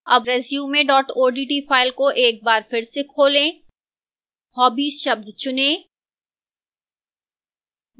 अब resume odt file को एक बार फिर से खोलें hobbies शब्द चुनें